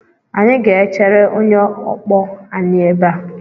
Anyị ga-echere onye ọkpọ anyị ebe a.